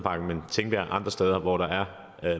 andre steder hvor der er